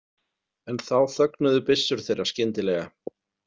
En þá þögnuðu byssur þeirra skyndilega.